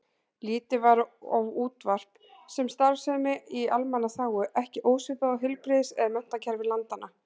Litið var á útvarp sem starfsemi í almannaþágu, ekki ósvipað og heilbrigðis- eða menntakerfi landanna.